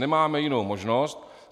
Nemáme jinou možnost.